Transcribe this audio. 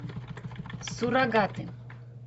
суррогаты